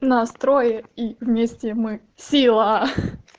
нас трое и вместе мы сила